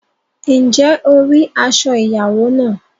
Ǹjẹ́ o rí aṣọ ìyàwó náà?